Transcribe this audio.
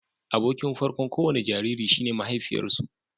Abokin farko'n ko wani jariri shi ne mahaifiyarsu